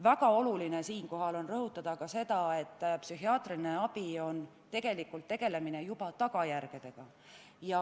Väga oluline on siinkohal rõhutada sedagi, et psühhiaatriline abi on tegelikult tegelemine tagajärgedega.